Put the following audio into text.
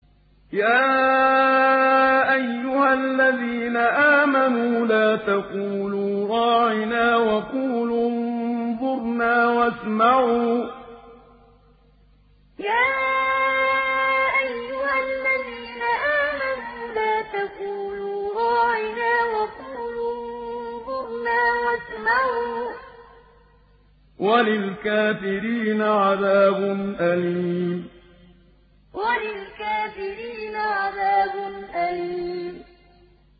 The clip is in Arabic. يَا أَيُّهَا الَّذِينَ آمَنُوا لَا تَقُولُوا رَاعِنَا وَقُولُوا انظُرْنَا وَاسْمَعُوا ۗ وَلِلْكَافِرِينَ عَذَابٌ أَلِيمٌ يَا أَيُّهَا الَّذِينَ آمَنُوا لَا تَقُولُوا رَاعِنَا وَقُولُوا انظُرْنَا وَاسْمَعُوا ۗ وَلِلْكَافِرِينَ عَذَابٌ أَلِيمٌ